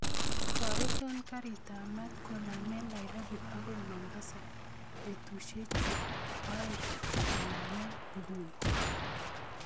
Toreton garitab maat konomen nairobi agoy mombasa betusiek oeng konemen inguni